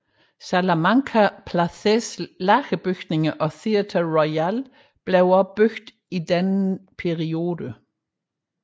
Salamanca Places lagerbygninger og Theatre Royal blev også bygget i denne periode